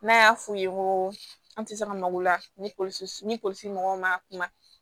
N'a y'a f'u ye ko an tɛ se ka malo la ni polisi mɔgɔw man kuma